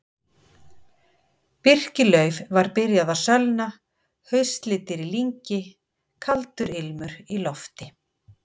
Birkilauf var byrjað að sölna, haustlitir í lyngi, kaldur ilmur í lofti.